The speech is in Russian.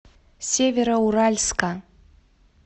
североуральска